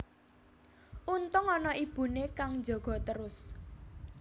Untung ana ibune kang njaga trus